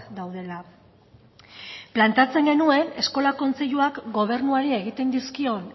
daudela planteatzen genuen eskola kontseiluak gobernuari egiten dizkion